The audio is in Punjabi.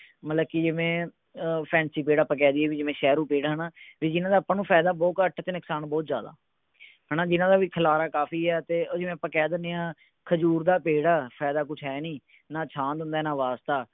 ਮਤਲਬ ਕਿ ਕਿਵੇਂ fancy ਪੇੜ ਆਪਾਂ ਕਹਿ ਦੀਏ ਵੀ ਜਿਵੇਂ ਸ਼ਹਿਰੂ ਪੇੜ ਹੈਨਾ ਵੀ ਜਿਨ੍ਹਾਂ ਦਾ ਆਪਾਂ ਨੂੰ ਫਾਇਦਾ ਬਹੁਤ ਘੱਟ ਤੇ ਨੁਕਸਾਨ ਬਹੁਤ ਜਿਆਦਾ ਹੈ ਨਾ ਹੈ ਨਾ ਵੀ ਜਿਨ੍ਹਾਂ ਦਾ ਖਿਲਾਰਾ ਕਾਫੀ ਹੈ ਉਹ ਜਿਵੇਂ ਆਪਾਂ ਕਹਿ ਦਿੰਨੇ ਹਾਂ ਖਜ਼ੂਰ ਦਾ ਪੇੜ ਹੈ ਫਾਇਦਾ ਕੁਝ ਹੈ ਨਹੀਂ ਨਾ ਛਾਂ ਦਿੰਦਾ ਹੈ ਨਾ ਵਾਸਤਾ